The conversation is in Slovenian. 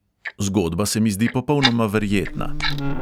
Zgodba se mi zdi popolnoma verjetna.